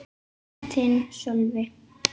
Þinn, Sölvi.